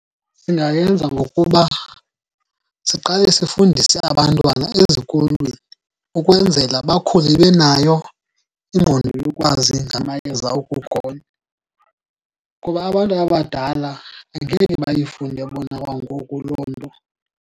Singayenza ngokuba siqale sifundise abantwana ezikolweni, ukwenzela bakhule benayo ingqondo yokwazi ngamayeza okugonywa, kuba abantu abadala angeke bayifunde bona kwangoku loo nto.